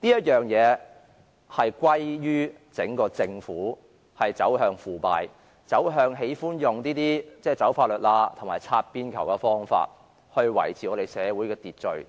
這可歸咎於整個政府走向腐敗、走向喜歡"走法律罅"及採用"擦邊球"的方法來維持社會秩序。